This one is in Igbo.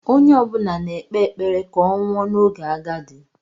Onye ọ bụla na-ekpe ekpere ka ọ nwụọ n'oge agadi.